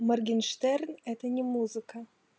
моргенштерн это не музыка